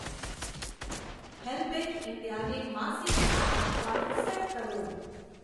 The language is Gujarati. હેલ્પેજ ઇન્ડિયા ને માસિક દાન આપવાનું સેટ કરો.